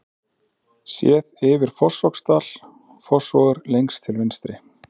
Séð yfir Fossvogsdal, Fossvogur lengst til vinstri.